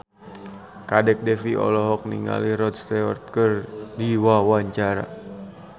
Kadek Devi olohok ningali Rod Stewart keur diwawancara